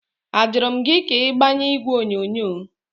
Ajụrụ m gị ka ị gbanye igwe onyonyo?